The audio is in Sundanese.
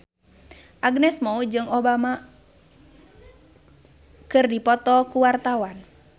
Agnes Mo jeung Obama keur dipoto ku wartawan